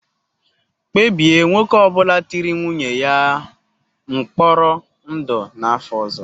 Kpebie nwoke ọ bụla tiri nwunye ya mkpọrọ ndụ n'afọ ọzọ.